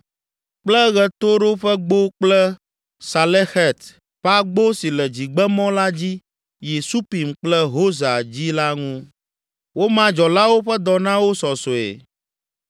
kple Ɣetoɖoƒegbo kple Salexet ƒe agbo si le dzigbemɔ la dzi yi Supim kple Hosa dzi la ŋu. Woma dzɔlawo ƒe dɔ na wo sɔsɔe.